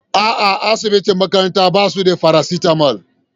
A'a asibitin makaranta basu da parasitamol.